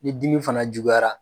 Ni dimi fana juguyara